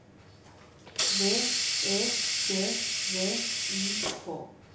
V E D V I K